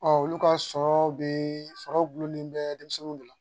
olu ka sɔrɔw be sɔrɔ gulɔ min bɛ denmisɛnninw de la